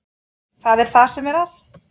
Það er það sem er að.